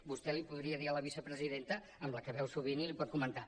vostè li ho podria dir a la vicepresidenta amb la qual es veu sovint i li ho pot comentar